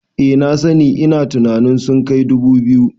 Eh na sani, ina tunanin sun kai dubu biyu